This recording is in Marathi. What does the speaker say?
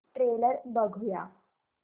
ट्रेलर बघूया